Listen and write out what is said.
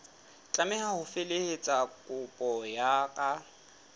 tlameha ho felehetsa kopo ka